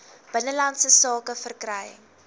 binnelandse sake verkry